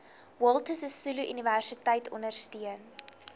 walter sisuluuniversiteit ondersteun